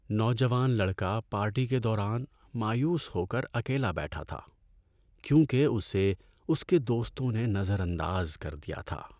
نوجوان لڑکا پارٹی کے دوران مایوس ہو کر اکیلا بیٹھا تھا کیونکہ اسے اس کے دوستوں نے نظر انداز کر دیا تھا۔